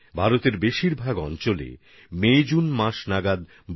ভারতের বেশিরভাগ অংশে মেজুন মাসে বর্ষা শুরু হয়